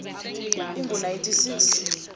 ingu nineteen six